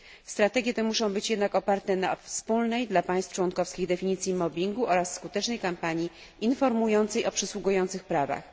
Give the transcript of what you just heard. Strategie te muszą być jednak oparte na wspólnej dla państw członkowskich definicji mobbingu oraz skutecznej kampanii informującej o przysługujących prawach.